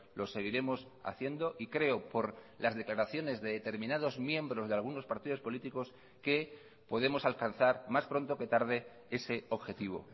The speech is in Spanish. lo seguiremos haciendo y creo por las declaraciones de determinados miembros de algunos partidos políticos que podemos alcanzar más pronto que tarde ese objetivo